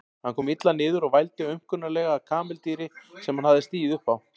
Hann kom illa niður og vældi aumkunarlega að kameldýri sem hann hafði stigið upp á.